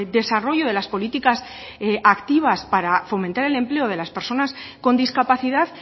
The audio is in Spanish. desarrollo de las políticas activas para fomentar el empleo de las personas con discapacidad